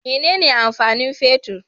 Mene ne amfani fetir?